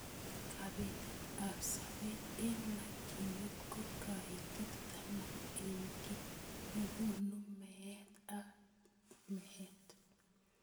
Kabetet ab sobet eng makyinet ko kaitet taman eng ki nekonu meet ab meet.